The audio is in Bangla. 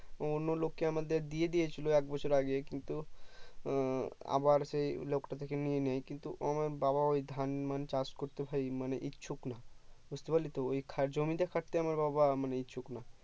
অন্য লোককে আমাদের দিয়ে দিয়েছিলো একবছর আগে কিন্তু উম আবার সেই লোক তা থেকে নিয়ে নেই ও আমার বাবা ধান মান চাষ করতে ভাই মানে ইচ্ছুক নাই বুজতে পারলি তো ওই জমিতে খাটতে আমার বাবা ইচ্ছুক না